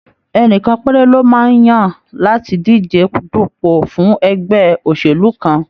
Ẹnìkan péré lọ máa ń yan láti díje dupo fún ẹgbẹ́ òṣèlú kan.